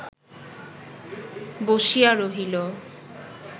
বসিয়া রহিল